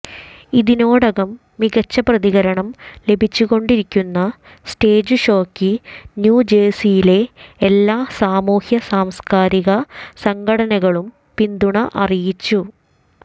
ഇതിനോടകം മികച്ച പ്രതികരണം ലഭിച്ചുകൊണ്ടിരിക്കുന്ന സ്റ്റേജ്ഷോയ്ക്ക് ന്യൂജേഴ്സിയിലെ എല്ലാ സാമൂഹ്യ സാംസ്കാരിക സംഘടനകളും പിന്തുണ അറിയിച്ചു